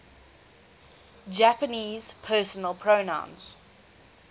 japanese personal pronouns